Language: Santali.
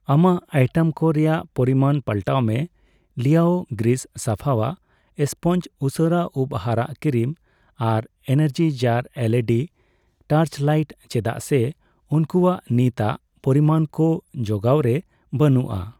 ᱟᱢᱟᱜ ᱟᱭᱴᱮᱢ ᱠᱚ ᱨᱮᱭᱟᱜ ᱯᱚᱨᱤᱢᱟᱱ ᱯᱟᱞᱴᱟᱣ ᱢᱮ ᱞᱤᱭᱟᱳ ᱜᱨᱤᱥ ᱥᱟᱯᱷᱟᱣᱟᱜ ᱥᱯᱚᱧᱪ, ᱩᱥᱟᱹᱨᱟ ᱩᱯ ᱦᱟᱨᱟᱜ ᱠᱨᱤᱢ ᱟᱨ ᱮᱱᱟᱨᱡᱤᱡᱟᱨ ᱮᱞᱹᱤᱹᱰᱤ ᱴᱚᱨᱪᱞᱟᱹᱭᱤᱴ ᱪᱮᱫᱟᱜ ᱥᱮ ᱩᱝᱠᱩᱣᱟᱜ ᱱᱤᱛᱟᱜ ᱯᱚᱨᱤᱢᱟᱱ ᱠᱚ ᱡᱚᱜᱟᱣ ᱨᱮ ᱵᱟᱹᱱᱩᱜᱼᱟ ᱾